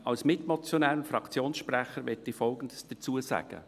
Als Mitmotionär und Fraktionssprecher möchte ich Folgendes dazu sagen.